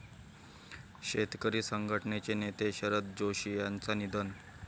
शेतकरी संघटनेचे नेते शरद जोशी यांचं निधन